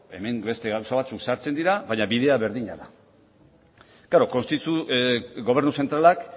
hemen beste gauza batzuk sartzen dira baina bidea berdina da klaro gobernu zentralak